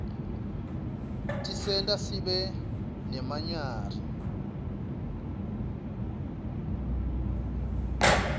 tiserta sibe nebanyari